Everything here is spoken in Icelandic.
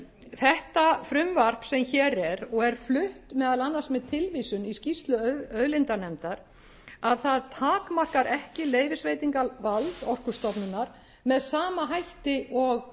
þetta frumvarp sem hér er og er flutt meðal annars með tilvísun í skýrslu auðlindanefndar að það takmarkar ekki leyfisveitingarvald orkustofnunar með sama hætti og